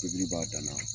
Tobili b'a dan na